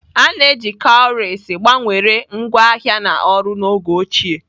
A na-eji cowries gbanwere ngwaahịa na ọrụ n'oge ochie.